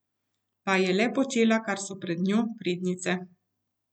Pa je le počela, kar so pred njo prednice.